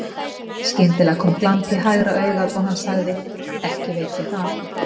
Skyndilega kom glampi í hægra augað og hann sagði: Ekki veit ég það.